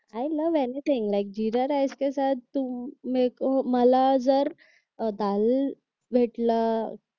I love anything like jeera rice के साथ तुम मेरे को मला जर अह दाल भेटला